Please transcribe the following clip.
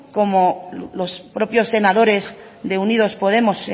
como los propios senadores de unidos podemos